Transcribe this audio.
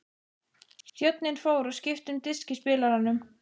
Þjónninn fór og skipti um disk í spilaranum.